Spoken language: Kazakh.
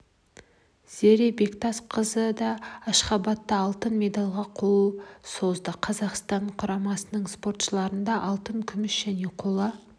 зере бектасқызы да ашхабадта алтын медальге қол созды қазақстан құрамасының спортшыларында алтын күміс және қола